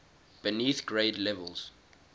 beneath grade levels